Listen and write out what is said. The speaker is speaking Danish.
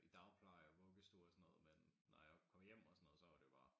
I dagpleje og vuggestue og sådan noget men når jeg kom hjem og sådan noget så var det jo bare